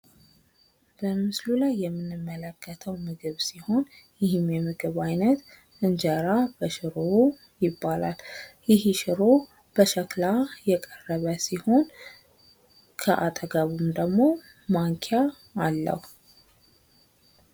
በምስሉ ላይ የምንመለከተው ምግብ ሲሆን ይህም የምግብ ዓይነት እንጀራ በሽሮ ይባላል። ይህም ሽሮ በሸክላ የቀረበ ሲሆን ከአጠገቡም ደግሞ ማንኪያ አለው።